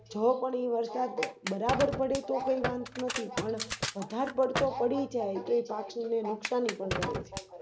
જો પણ ઈ વરસાદ બરાબર પડે તો કોઈ વાંધો નથી પણ વધાર પડતો પડી જાય એ પાછો નુકસાને પણ કરે